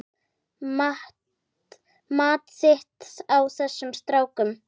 Mat þitt á þessum strákum?